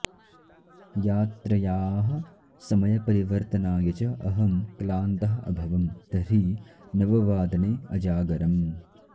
यात्रयाः समयपरिवर्तनाय च अहं क्लान्तः अभवम् तर्हि नववादने अजागरम्